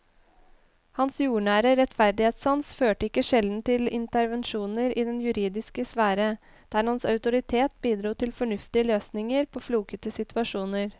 Hans jordnære rettferdighetssans førte ikke sjelden til intervensjoner i den juridiske sfære, der hans autoritet bidro til fornuftige løsninger på flokete situasjoner.